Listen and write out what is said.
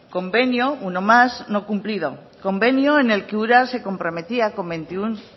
convenio uno más no cumplido convenio en el que ura se comprometía con veintiuno